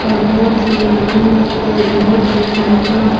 और बहुत ही आनंद आता है और बहुत ही बड़िया है।